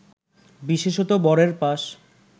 বিশেষতঃ বরের পাশ